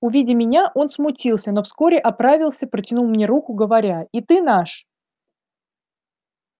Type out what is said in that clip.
увидя меня он смутился но вскоре оправился протянул мне руку говоря и ты наш